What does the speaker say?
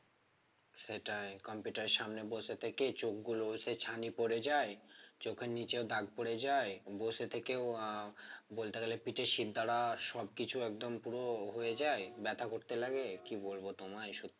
সেটাই computer এর সামনে বসে থেকে চোখগুলো ছানি পড়ে যায় চোখের নিচেও দাগ পড়ে যায় বসে থেকেও আহ বলতে গেলে পিঠের শিরদাঁড়া সবকিছু একদম পুরো হয়ে যায় ব্যথা করতে লাগে কি বলবো তোমায় সত্যি